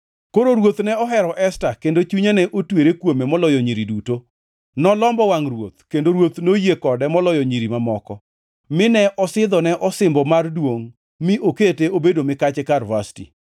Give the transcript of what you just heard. Koro ruoth ne ohero Esta kendo chunye ne otwere kuome moloyo nyiri duto, nolombo wangʼ ruoth, kendo ruoth noyie kode moloyo nyiri mamoko. Mine osidhone osimbo mar duongʼ, mi okete obedo mikache kar Vashti.